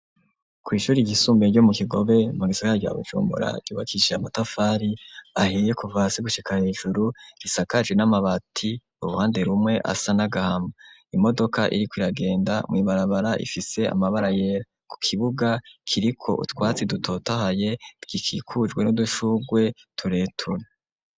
Kw'ishuri ryisumbiye ryo mu kigobe mu gisaka ryabo cumura yubakishije amatafari aheye kuvase gushikana ijuru risakaje n'amabati uruhande rumwe asa n'agahama imodoka iri ku iragenda mu ibarabara ifise amabara yera ku kibuga kiriko utwatsi dutotahaye rw'ikikujwe n'udushugwe tureture.